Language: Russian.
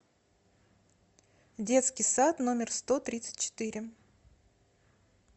детский сад номер сто тридцать четыре